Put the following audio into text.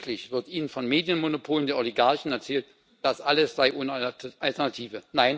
Täglich wird ihnen von Medienmonopolen der Oligarchen erzählt, das alles sei ohne Alternative.